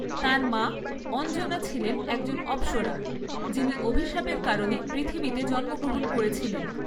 তাঁর মা অঞ্জনা ছিলেন একজন অপ্সরা যিনি অভিশাপের কারণে পৃথিবীতে জন্মগ্রহণ করেছিলেন।